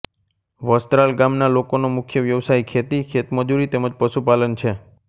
વસ્ત્રાલ ગામના લોકોનો મુખ્ય વ્યવસાય ખેતી ખેતમજૂરી તેમ જ પશુપાલન છે